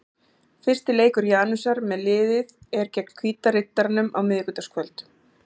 Fyrsti leikur Janusar með liðið er gegn Hvíta Riddaranum á miðvikudagskvöld.